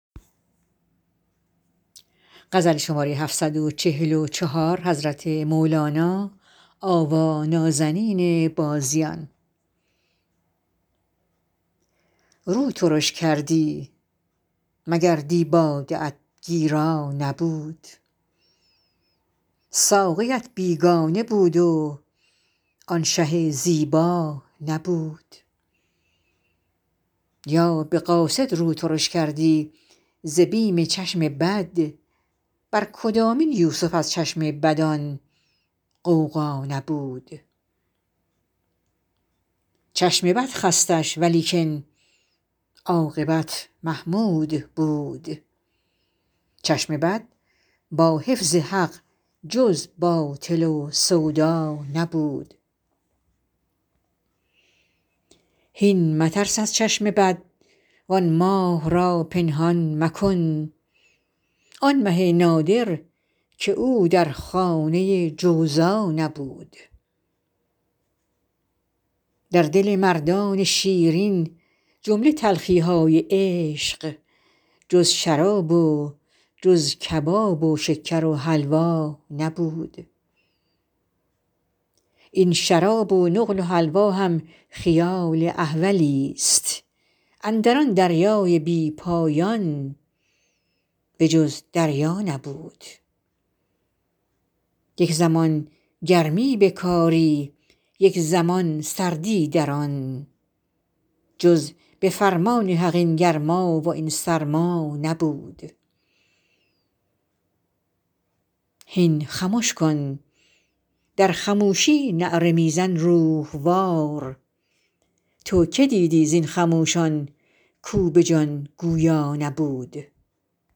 رو ترش کردی مگر دی باده ات گیرا نبود ساقیت بیگانه بود و آن شه زیبا نبود یا به قاصد رو ترش کردی ز بیم چشم بد بر کدامین یوسف از چشم بد آن غوغا نبود چشم بد خستش ولیکن عاقبت محمود بود چشم بد با حفظ حق جز باطل و سودا نبود هین مترس از چشم بد وان ماه را پنهان مکن آن مه نادر که او در خانه جوزا نبود در دل مردان شیرین جمله تلخی های عشق جز شراب و جز کباب و شکر و حلوا نبود این شراب و نقل و حلوا هم خیال احولست اندر آن دریای بی پایان به جز دریا نبود یک زمان گرمی به کاری یک زمان سردی در آن جز به فرمان حق این گرما و این سرما نبود هین خمش کن در خموشی نعره می زن روح وار تو کی دیدی زین خموشان کو به جان گویا نبود